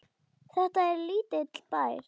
Þetta er lítill bær.